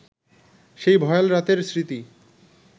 সেই ভয়াল রাতের স্মৃতি